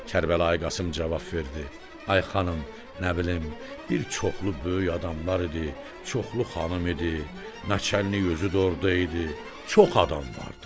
Kərbəlayı Qasım cavab verdi: Ay xanım, nə bilim, bir çoxlu böyük adamlar idi, çoxlu xanım idi, naçalnik özü də orada idi, çox adam vardı.